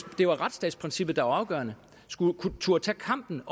det var retsstatsprincippet der var afgørende skulle turde tage kampen